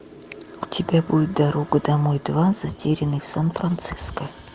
у тебя будет дорога домой два затерянные в сан франциско